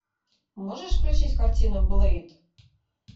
можешь включить картину блэйд